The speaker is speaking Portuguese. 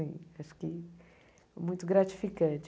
Acho que é muito gratificante.